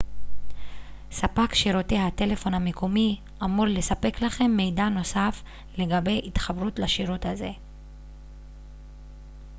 ספק שירותי הטלפון המקומי אמור לספק לכם מידע נוסף לגבי התחברות לשירות זה